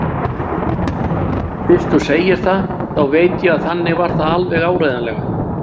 Fyrst þú segir það, þá veit ég að þannig var það alveg áreiðanlega.